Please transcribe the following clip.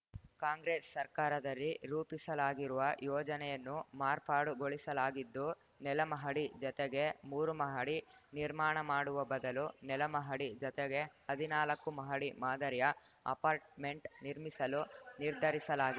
ಕಾಂಗ್ರೆಸ್‌ ಸರ್ಕಾರದರಿ ರೂಪಿಸಲಾಗಿರುವ ಯೋಜನೆಯನ್ನು ಮಾರ್ಪಾಡುಗೊಳಿಸಲಾಗಿದ್ದು ನೆಲಮಹಡಿ ಜತೆಗೆ ಮೂರು ಮಹಡಿ ನಿರ್ಮಾಣ ಮಾಡುವ ಬದಲು ನೆಲಮಹಡಿ ಜತೆಗೆ ಹದಿನಾಲ್ಕು ಮಹಡಿ ಮಾದರಿಯ ಅಪಾರ್ಟ್‌ಮೆಂಟ್‌ ನಿರ್ಮಿಸಲು ನಿರ್ಧರಿಸಲಾಗಿದೆ